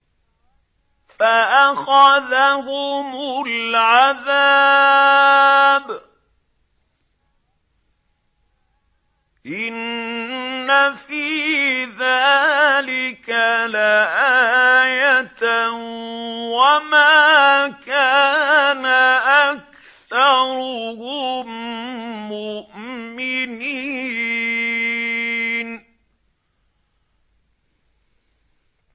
فَأَخَذَهُمُ الْعَذَابُ ۗ إِنَّ فِي ذَٰلِكَ لَآيَةً ۖ وَمَا كَانَ أَكْثَرُهُم مُّؤْمِنِينَ